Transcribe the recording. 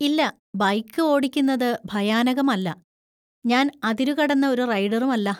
ഇല്ല, ബൈക്ക് ഓടിക്കുന്നത് ഭയാനകമല്ല, ഞാൻ അതിരുകടന്ന ഒരു റൈഡറും അല്ല.